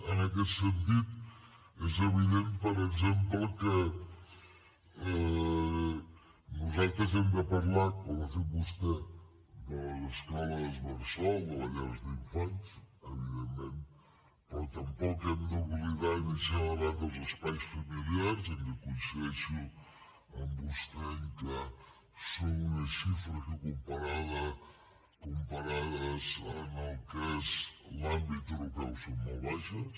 en aquest sentit és evident per exemple que nosaltres hem de parlar com ha fet vostè de les escoles bressol de les llars d’infants evidentment però tampoc hem d’oblidar ni deixar de banda els espais familiars que coincideixo amb vostè en que són unes xifres que comparades amb el que és l’àmbit europeu són molt baixes